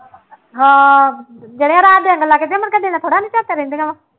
ਹਾਂ ਦਿਨੇ ਰਾਤ ਲੰਘ ਜਾਏ, ਮੁੜਕੇ ਦਿਨੇ ਥੋੜ੍ਹਾ ਰਹਿੰਦੀਆਂ ਵਾ